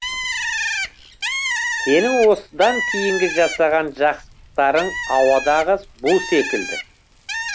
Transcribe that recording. сенің осыдан кейінгі жасаған жақсылықтарың ауадағы бу секілді